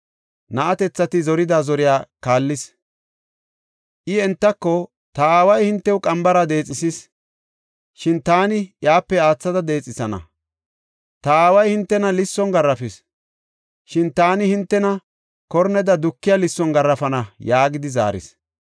Na7atethati zorida zoriya kaallis. I entako, “Ta aaway hinte qambara deexethis; shin taani iyape aathada deexethana. Ta aaway hintena lisson garaafis; shin taani hintena korneda dukiya lisson garaafana” yaagidi zaaris.